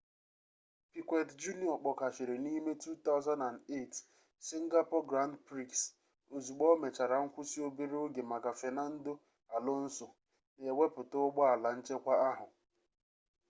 piquet jr kpọkashịrị n'ime 2008 singapore grand prix ozugbo o mechara nkwụsị obere oge maka fernando alonso na-ewepụta ụgbọala nchekwa ahụ